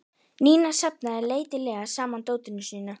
Nína safnaði letilega saman dótinu sínu.